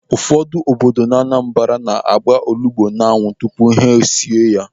Ụfọdụ obodo n'Anambra na-agba olugbu n'anwụ tupu ha esie ya.